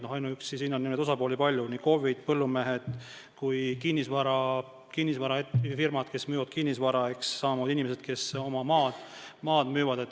Osapooli on palju: KOV-id, põllumehed, kinnisvarafirmad, kes müüvad kinnisvara, samamoodi inimesed, kes oma maad müüvad.